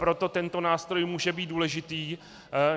Proto tento nástroj může být důležitý.